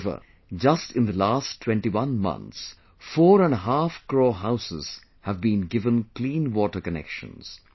However, just in the last 21 months, four and a half crore houses have been given clean water connections